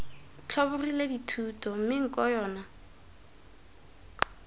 tlhobogile dithuto mme nko yona